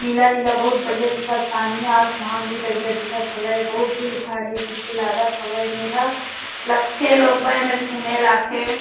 नीला-नीला बहुत बढ़िया दिखत पानी ह आसमान भी बढ़िया दिखत हवय बहुत भीड़-भाड़ हे तइसे लागत हवय इहाँ लगथे लोग बाई मन घूमे आथे।